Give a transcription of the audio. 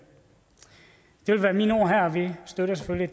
skal være mine ord her og vi støtter selvfølgelig